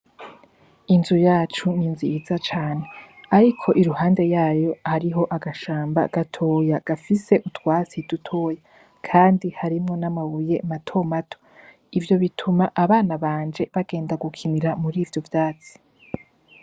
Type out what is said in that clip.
Inzu yacu ni nziza cane ariko iruhande yayo hariho agashamba gatoya gafise utwatsi dutoya, kandi harimwo n'amabuye mato mato. Ivyo bituma abana banje bagenda gukinira muri ivyo vyatsi.